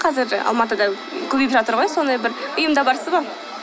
қазір алматыда көбейіп жатыр ғой сондай бір ұйымда барсыз ба